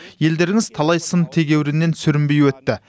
елдеріңіз талай сын тегеуріннен сүрінбей өтті